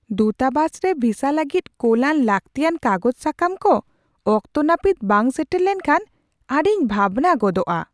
ᱫᱩᱛᱟᱵᱟᱥ ᱨᱮ ᱵᱷᱤᱥᱟ ᱞᱟᱹᱜᱤᱫ ᱠᱳᱞᱟᱱ ᱞᱟᱹᱠᱛᱤᱭᱟᱱ ᱠᱟᱜᱚᱡ ᱥᱟᱠᱟᱢ ᱠᱚ ᱚᱠᱛᱚ ᱱᱟᱹᱯᱤᱛ ᱵᱟᱝ ᱥᱮᱴᱮᱨ ᱞᱮᱢᱱᱠᱷᱟᱱ ᱟᱹᱰᱤᱧ ᱵᱷᱟᱵᱽᱱᱟ ᱜᱚᱫᱚᱜᱼᱟ ᱾